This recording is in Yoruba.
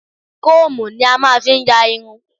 Kóòmù ni a máa ń fi ń yá irun.